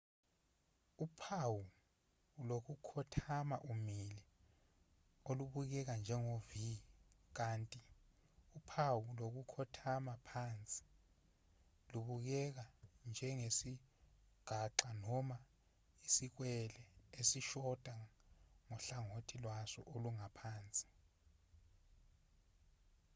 uphawu lokukhothama umile olubukeka njengo-v kanti uphawu lokukhothama phansi lubukeka njengesigaxa noma isikwele esishoda ngohlangothi lwaso olungaphansi